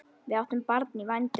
Við áttum barn í vændum.